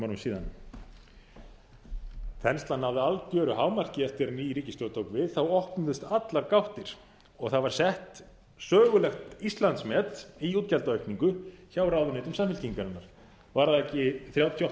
síðan þenslan náði algjöru hámarki eftir að ný ríkisstjórn tók við þá opnuðust allar gáttir og það var sett sögulegt íslandsmet í útgjaldaukningu hjá ráðuneytum samfylkingarinnar var það ekki þrjátíu